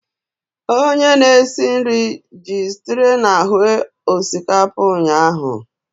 Onye na-esi nri ji streena hue osikapa ụnyahụ.